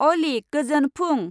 अली गोजोन फुं।